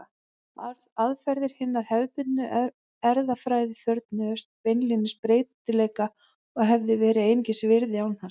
Aðferðir hinnar hefðbundnu erfðafræði þörfnuðust beinlínis breytileika og hefðu verið einskis virði án hans.